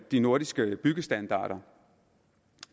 de nordiske byggestandarder